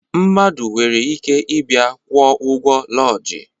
Mmadụ nwere ike ịbịa kwụọ ụgwọ lọjii